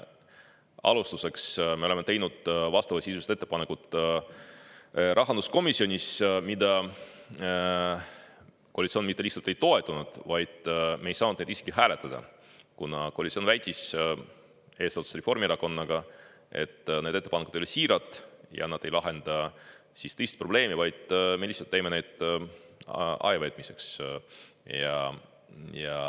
Kõigepealt me tegime vastavasisulised ettepanekud rahanduskomisjonis, mida koalitsioon mitte lihtsalt ei toetanud, vaid me ei saanud neid isegi hääletada, kuna koalitsioon eesotsas Reformierakonnaga väitis, et need ettepanekud ei ole siirad ja nad ei lahenda probleemi, vaid me teeme need lihtsalt ajaveetmiseks.